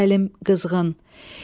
Səlim, qızğın.